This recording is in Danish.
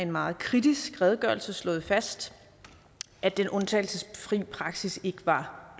meget kritisk redegørelse slået fast at den undtagelsesfri praksis ikke var